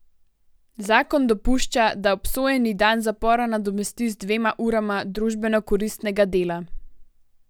Zakon dopušča, da obsojeni dan zapora nadomesti z dvema urama družbenokoristnega dela.